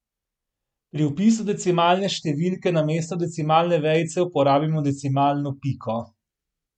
Pri vpisu decimalne številke namesto decimalne vejice uporabimo decimalno piko.